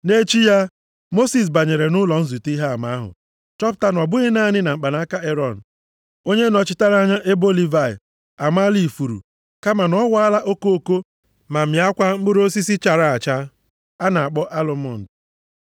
Nʼechi ya, Mosis banyere nʼụlọ nzute Ihe Ama ahụ chọpụta na ọ bụghị naanị na mkpanaka Erọn, onye nọchitere anya ebo Livayị, amaala ifuru, kama na ọ waala okoko ma mịakwa mkpụrụ osisi chara acha a na-akpọ alụmọnd.